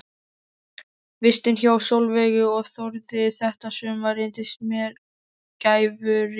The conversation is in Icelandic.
Vistin hjá Sólveigu og Þórði þetta sumar reyndist mér gæfurík.